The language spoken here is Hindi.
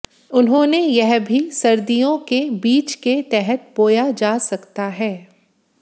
उन्होंने यह भी सर्दियों के बीज के तहत बोया जा सकता है